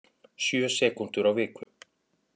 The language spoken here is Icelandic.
Sjö sekúndur á viku